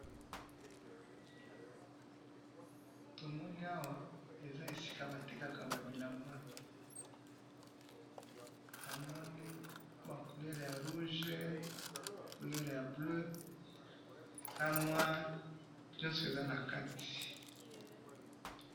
tomoni awa eza esika ba tekaka ba bilamba , namoni ba couleur ya rouge ya bleu na noir nyiso eza na kati.